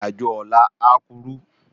Irin ájó òlà á kúrú